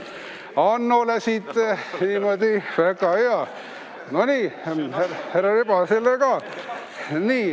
Hannole annan, väga hea!